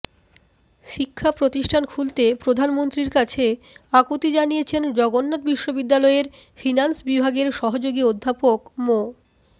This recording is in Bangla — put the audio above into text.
শিক্ষা প্রতিষ্ঠান খুলতে প্রধানমন্ত্রীর কাছে আকুতি জানিয়েছেন জগন্নাথ বিশ্ববিদ্যালয়ের ফিন্যান্স বিভাগের সহযোগী অধ্যাপক মো